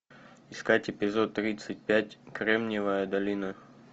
искать эпизод тридцать пять кремниевая долина